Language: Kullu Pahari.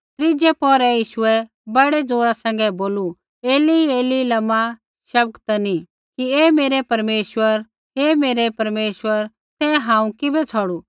त्रीज़ै पौहरै यीशुऐ बड़ी ज़ोरा सैंघै बोलू एलीएली लमा शबक्तनी कि हे मेरै परमेश्वर हे मेरै परमेश्वर तैं हांऊँ किबै छ़ौड़ू